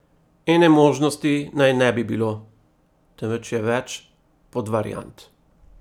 Ene možnosti naj ne bi bilo, temveč je več podvariant.